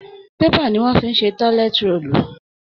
Paper ni wọ́n fi ń ṣe tọ́lẹ́t róòlù